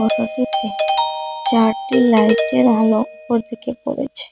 চারটি লাইটের আলো ওপর দিকে পড়েছে।